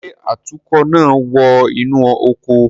Ṣe atukọ naa wọ inu ọkọ